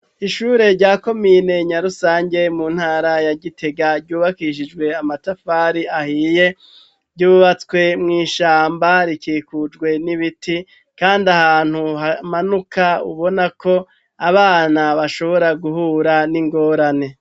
Ishure rya komine nyarusange mu ntara ya gitega, ryubakishijwe amatafari ahiye ,ryubatswe mw'ishamba rikikujwe n'ibiti, kandi ahantu hamanuka ubona ko abana bashobora guhura n'ingorane.